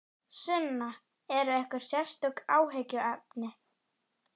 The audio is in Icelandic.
Sunna: Eru einhver sérstök áhyggjuefni?